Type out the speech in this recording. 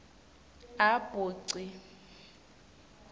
a b c